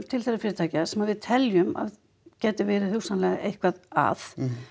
til þeirra fyrirtækja sem við teljum að gætu verið hugsanlega eitthvað að